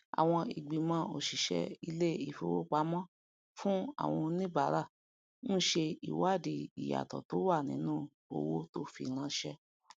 àwọn ìgbìmò òṣìṣẹ ilé ifowopamọ fún àwọn oníbàárà n se iwadi ìyàtọ to wà nínú owó tó fi ránṣẹ